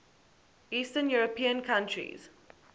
eastern european countries